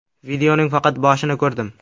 Videoning faqat boshini ko‘roldim.